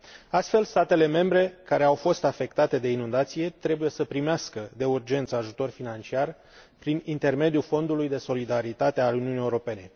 Astfel, statele membre, care au fost afectate de inundații, trebuie să primească de urgență ajutor financiar, prin intermediul Fondului de solidaritate al Uniunii Europene.